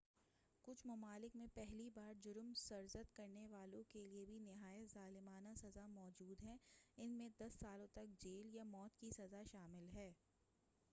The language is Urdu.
کچھ ممالک میں پہلی بار جرم سرزد کرنے والوں کیلئے بھی نہایت ظالمانہ سزا موجود ہے ان میں 10 سالوں تک جیل یا موت کی سزا شامل ہے